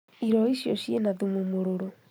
Iroi icio ciĩna thumu mũrũrũ